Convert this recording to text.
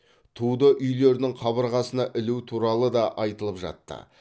туды үйлердің қабырғасына ілу туралы да айтылып жатты